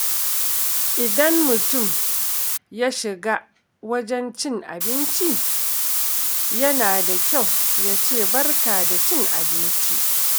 Idan mutum ya shiga wajen cin abinci, yana da kyau ya ce “Barka da cin abinci.”